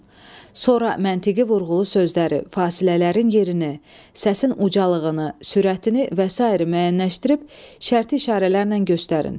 Sonra məntiqi vurğulu sözləri, fasilələrin yerini, səsin ucalığını, sürətini və sair müəyyənləşdirib şərti işarələrlə göstərin.